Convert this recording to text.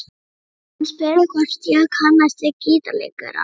Hann spurði hvort ég kannaðist við gítarleikarann.